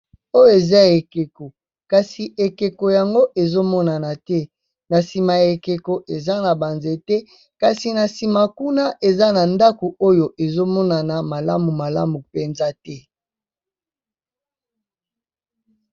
Oyo eza ekeko, kasi ekeko yango ezo monana te. Na nsima ya ekeko eza na ba nzete, kasi na nsima kuna eza na ndako oyo ezo monana malamu malamu mpenza te.